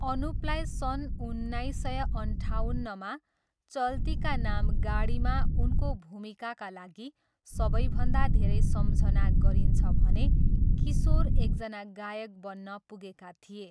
अनुपलाई सन् उन्नाइस सय अन्ठाउन्नमा 'चलती का नाम गाडी'मा उनको भूमिकाका लागि सबैभन्दा धेरै सम्झना गरिन्छ भने किशोर एकजना गायक बन्न पुगेका थिए।